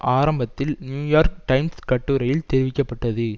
ஆரம்பத்தில் New York Times கட்டுரையில் தெரிவிக்க பட்டது